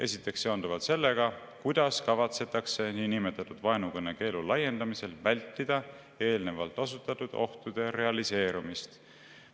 Esiteks seonduvalt sellega, kuidas kavatsetakse niinimetatud vaenukõne keelu laiendamisel vältida eespool osutatud ohtude realiseerumist.